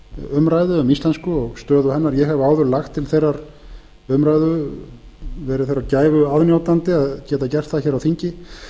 umræðu um íslensku og stöðu hennar ég hef áður lagt til þeirrar umræðu verið þeirrar gæfu aðnjótandi að geta gert það hér á alþingi